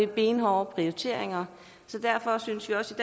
benhårde prioriteringer derfor synes vi også